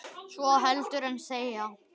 svo heldur en þegja